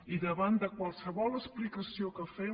i davant de qualsevol explicació que fem